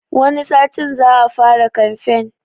Wani satin za a fara kamfen